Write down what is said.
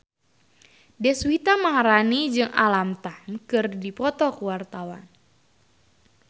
Deswita Maharani jeung Alam Tam keur dipoto ku wartawan